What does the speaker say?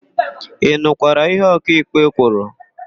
Ị nụkwara ihe ọkaịkpe kwuru?